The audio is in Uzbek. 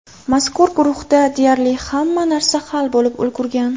Mazkur guruhda deyarli hamma narsa hal bo‘lib ulgurgan.